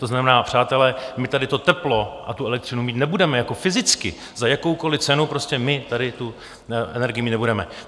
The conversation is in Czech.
To znamená, přátelé, my tady to teplo a tu elektřinu mít nebudeme jako fyzicky, za jakoukoliv cenu, prostě my tady tu energii mít nebudeme.